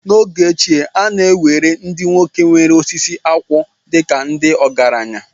N’oge ochie, a na-ewere ndị nwoke nwe osisi akwụ dịka ndị ọgaranya